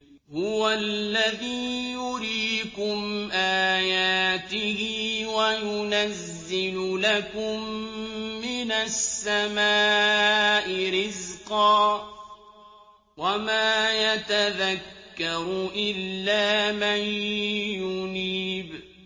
هُوَ الَّذِي يُرِيكُمْ آيَاتِهِ وَيُنَزِّلُ لَكُم مِّنَ السَّمَاءِ رِزْقًا ۚ وَمَا يَتَذَكَّرُ إِلَّا مَن يُنِيبُ